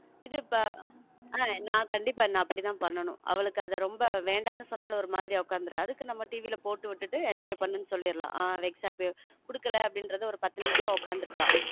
இது இப்ப நான் கண்டிப்பா அப்படித்தான் பண்ணனும் அவளுக்கு அது ரொம்ப வேண்டான்னு சொன்னாலும் ஒரு மாதிரி உட்கார்ந்திட அதுக்கு நம்ம TV ல போட்டு விட்டுட்டு enjoy பண்ணு ன்னு சொல்லிடலாம் கொடுக்கல என்கிறத பத்து நிமிஷம் உட்கார்ந்து இருப்பா.